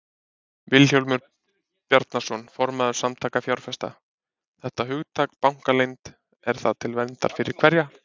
Vilhjálmur Bjarnason, formaður Samtaka fjárfesta: Þetta hugtak, bankaleynd, er það til verndar fyrir hverja?